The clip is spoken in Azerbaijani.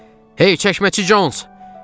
Hey, çəkməçi Cons!